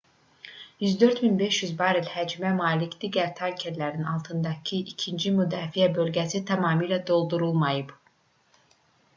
104,500 barel həcmə malik digər tankerlərin altındakı ikinci müdafiə bölgəsi tamamilə doldurulmayıb